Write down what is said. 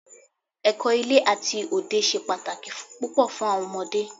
Ẹ̀kọ́ ilé àti òde ṣe pàtàkì púpọ̀ fún àwọn ọmọdé.